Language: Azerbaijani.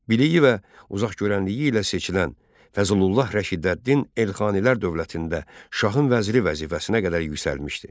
Biliyi və uzaqgörənliyi ilə seçilən Fəzlullah Rəşidəddin Elxanilər dövlətində şahın vəziri vəzifəsinə qədər yüksəlmişdir.